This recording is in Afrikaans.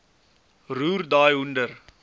roer daai hoender